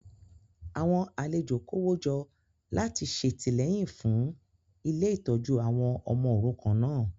Àwọn alejo kówójọ láti ṣètìlẹ́yìn fún ilé ìtọ́jú àwọn ọmọ òrukàn náà